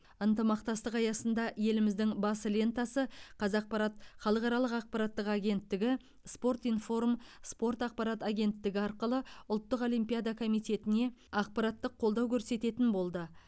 ынтымақтастық аясында еліміздің бас лентасы қазақпарат халықаралық ақпараттық агенттігі спорт информ спорт ақпарат агенттігі арқылы ұлттық олимпиада комитетіне ақпараттық қолдау көрсететін болды